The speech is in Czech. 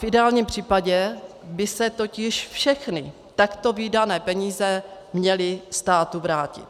V ideálním případě by se totiž všechny takto vydané peníze měly státu vrátit.